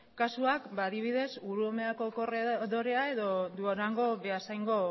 kasuak adibidez urumeako korredorea edo durango beasaingo